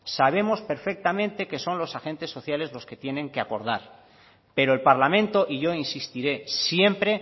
sabemos perfectamente que son los agentes sociales los que tienen que acordar pero el parlamento y yo insistiré siempre